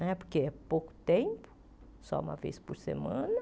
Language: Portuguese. né porque é pouco tempo, só uma vez por semana.